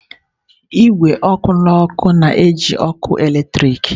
Igwe ọkụ n'uko na-eji ọkụ eletrik.